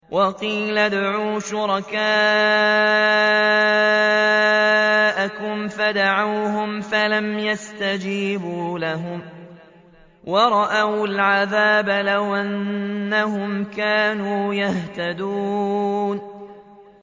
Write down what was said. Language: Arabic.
وَقِيلَ ادْعُوا شُرَكَاءَكُمْ فَدَعَوْهُمْ فَلَمْ يَسْتَجِيبُوا لَهُمْ وَرَأَوُا الْعَذَابَ ۚ لَوْ أَنَّهُمْ كَانُوا يَهْتَدُونَ